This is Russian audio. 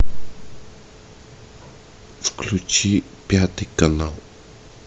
включи пятый канал